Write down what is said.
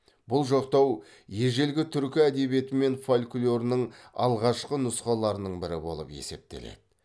бұл жоқтау ежелгі түркі әдебиеті мен фольклорінің алғашқы нұсқаларының бірі болып есептеледі